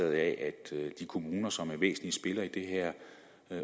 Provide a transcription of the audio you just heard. af at de kommuner som er væsentlige spillere i det her